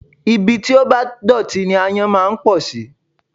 Ibi tí ó bá dọ̀tí ni aáyán máa ń pọ̀ sí